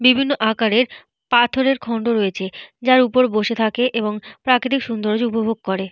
বিভিন্ন আকারের পাথরের খন্ড রয়েছে। যার উপর বসে থাকে এবং প্রাকৃতিক সৌন্দর্য উপভোগ করে।